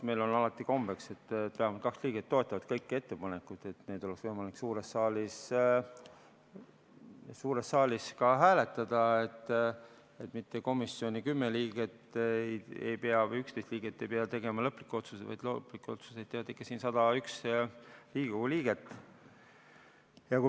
Meil on alati kombeks, et vähemalt kaks liiget toetavad kõiki ettepanekuid, et neid oleks võimalik suures saalis hääletada, mitte komisjoni kümme või üksteist liiget ei pea tegema lõpliku otsuse, vaid lõpliku otsuse teevad ikka siin 101 Riigikogu liiget.